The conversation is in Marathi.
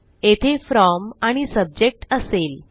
येथे फ्रॉम आणि सब्जेक्ट असेल